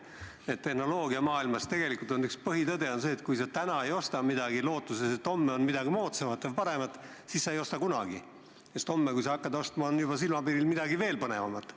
Üks tehnoloogiamaailma põhitõdesid on see, et kui sa täna midagi ei osta lootuses, et homme on müügil midagi moodsamat ja paremat, siis ei osta sa seda kunagi, sest homme on silmapiiril juba midagi veel põnevamat.